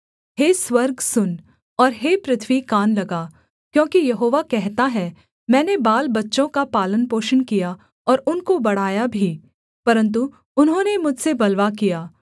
हे स्वर्ग सुन और हे पृथ्वी कान लगा क्योंकि यहोवा कहता है मैंने बालबच्चों का पालनपोषण किया और उनको बढ़ाया भी परन्तु उन्होंने मुझसे बलवा किया